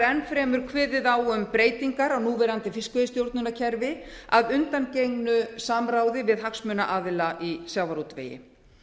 enn fremur kveðið á um breytingar á núverandi fiskveiðistjórnarkerfi að undangengnu samráði við hagsmunaaðila í sjávarútvegi